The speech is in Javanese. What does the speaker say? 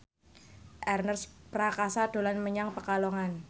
Ernest Prakasa dolan menyang Pekalongan